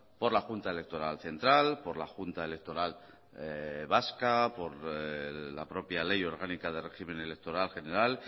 por la junta electoral central por la junta electoral vasca por la propia ley orgánica de régimen electoral general